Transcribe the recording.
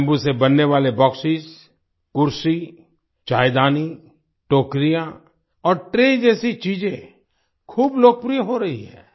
bamboo से बनने वाले बॉक्सों कुर्सी चायदानी टोकरियाँ और ट्रे जैसी चीजें खूब लोकप्रिय हो रही हैं